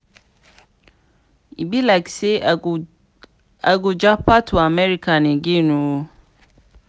e be like say i go japa to america again ooo